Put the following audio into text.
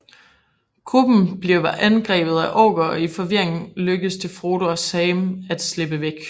Gruppen bliver angrebet af orker og i forvirringen lykkes det Frodo og Sam at slippe væk